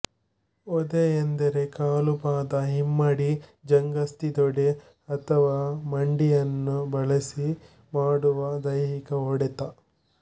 ಒದೆ ಎಂದರೆ ಕಾಲು ಪಾದ ಹಿಮ್ಮಡಿ ಜಂಘಾಸ್ಥಿ ತೊಡೆ ಅಥವಾ ಮಂಡಿಯನ್ನು ಬಳಸಿ ಮಾಡುವ ದೈಹಿಕ ಹೊಡೆತ